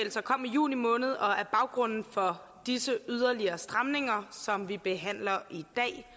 juni måned og er baggrunden for disse yderligere stramninger som vi behandler i